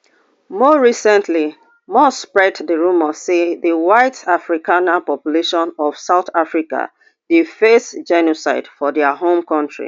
more recentlymusk spread di rumours say di white afrikaner population of south africa dey face genocide for dia home country